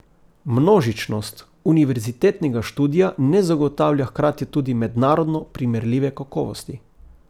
Množičnost univerzitetnega študija ne zagotavlja hkrati tudi mednarodno primerljive kakovosti.